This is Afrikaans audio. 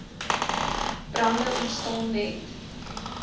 brande ontstaan net